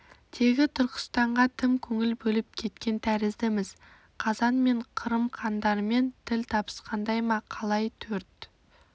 тегі түркістанға тым көңіл бөліп кеткен тәріздіміз қазан мен қырым хандарымен тіл табысқандай ма қалай төрт